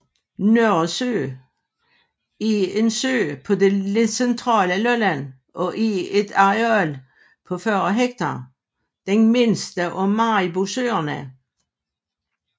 Nørresø er en sø på det centrale Lolland og er med et areal på 40 hektar den mindste af Maribosøerne